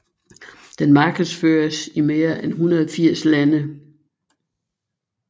Den markedsføres i mere end 180 lande